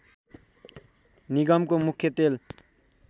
निगमको मुख्य तेल